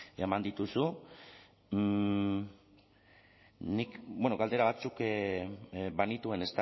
eman dituzu nik bueno galdera batzuk banituen